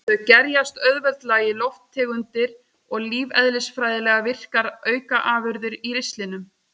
Þau gerjast auðveldlega í lofttegundir og lífeðlisfræðilega virkar aukaafurðir í ristlinum.